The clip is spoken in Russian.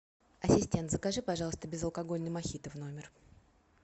ассистент закажи пожалуйста безалкогольный мохито в номер